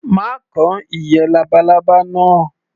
Má kan ìyẹ́ labalábá náà.